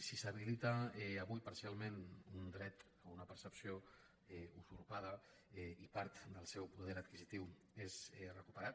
si s’habilita avui parcialment un dret a una percepció usurpada i part del seu poder adquisitiu és recuperat